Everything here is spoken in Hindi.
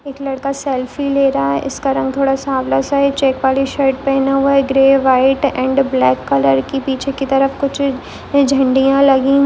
एक लड़का सेल्फी ले रहा है इसका रंग थोड़ा सावला है चेक वाली शर्ट पहना हुआ है ग्रे व्हाइट एंड ब्लैक की पीछे की तरफ कूछ झंडिया लगी--